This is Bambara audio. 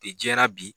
U bɛ jɛra bi